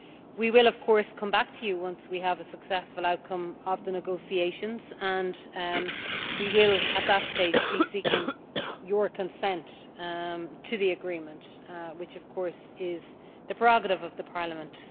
We will of course come back to you once we have a successful outcome to the negotiations and we will, at that stage, be seeking your consent to the agreement which, of course, is the prerogative of Parliament.